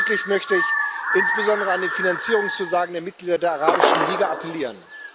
Diesbezüglich möchte ich insbesondere an die Finanzierungszusagen der Mitglieder der Arabischen Liga appellieren.